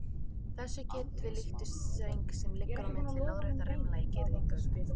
Þessu getum við líkt við streng sem liggur á milli lóðréttra rimla í girðingu.